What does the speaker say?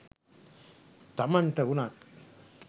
තමන්ට වුනත්